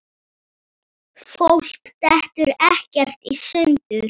Fólk dettur ekkert í sundur.